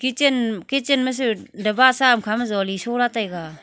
kitchen kitchen ma su daba sa am khama zoli sho lah taiga.